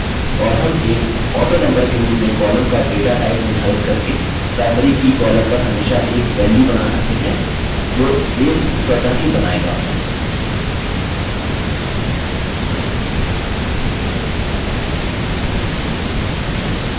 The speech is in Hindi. और हम एक autonumber के रूप में column का data type निर्धारित करके primary की column पर हमेशा एक value बना सकते हैं जो base स्वतः ही बनाएगा